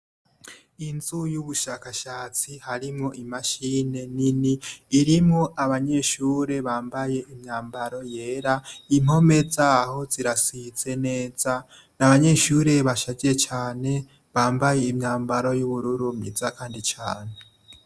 Inzu y'ubushakashatsi harimwo imashine nini irimwo abanyeshure bambaye imyambaro yera impome zaho zirasize neza ni abanyeshure bashaje cane bambaye imyambaro y'ubururu myiza, kandi cane.